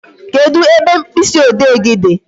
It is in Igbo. Kedụ ebe mkpịsị ode gị dị?